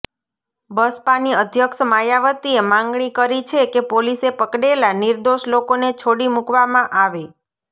બસપાની અધ્યક્ષ માયાવતીએ માગણી કરી છે કે પોલીસે પકડેલા નિર્દોષ લોકોને છોડી મૂકવામાં આવે